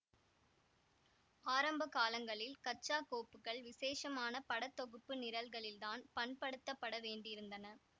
ஆரம்ப காலங்களில் கச்சா கோப்புக்கள் விசேஷமான பட தொகுப்பு நிரல்களில்தான் பண்படுத்தப்பட வேண்டியிருந்தன